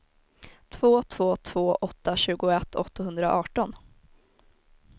två två två åtta tjugoett åttahundraarton